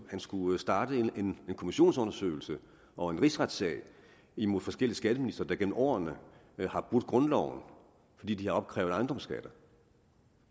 han skulle starte en kommissionsundersøgelse og en rigsretssag imod forskellige skatteministre der gennem årene har brudt grundloven fordi de har opkrævet ejendomsskatter